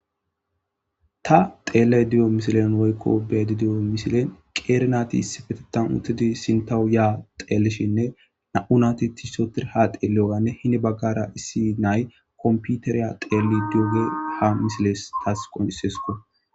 Ta xelayda diyo misilen woykko beyayida diyo misilen qer nat issipetetan asat issippetethan utid sintawu ya xelishinine na'u nati sekira ha xeliyiganne issi na'ay computer xelid diyoga ha misiley tas qoncisiyaysako.